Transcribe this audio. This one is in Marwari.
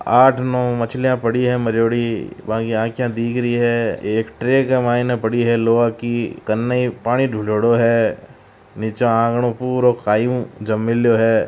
आठ नौ मछलिया पड़ी है मरयोड़ी बांकी आंख्या दिख रही है एक ट्रैक के मायने पड़ी है लोहा की कनाई पानी ढुल्योड़ो है नीचे आंगणो पुरो काई ऊ जम मेल्यो है।